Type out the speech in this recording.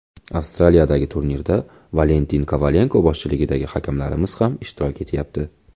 Avstraliyadagi turnirda Valentin Kovalenko boshchiligidagi hakamlarimiz ham ishtirok etyapti.